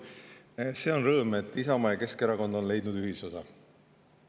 Esiteks, see on rõõm, et Isamaa ja Keskerakond on leidnud ühisosa.